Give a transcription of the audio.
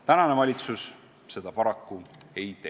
Tänane valitsus seda paraku ei tee.